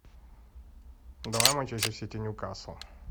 давай манчестер сити ньюкасл